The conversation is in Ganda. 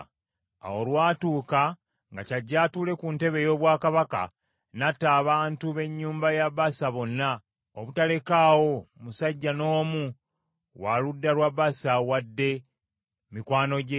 Awo olwatuuka nga kyajje atuule ku ntebe ey’obwakabaka n’atta abantu b’ennyumba ya Baasa bonna, obutalekaawo musajja n’omu wa luganda lwa Baasa wadde mikwano gye.